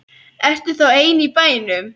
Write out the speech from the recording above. Ertu þá ein í bænum?